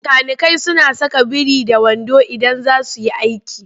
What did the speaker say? Makanikai suna saka biri-da-wando idan za su yi aiki.